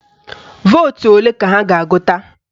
Vootu ole ka ha ga-agụta?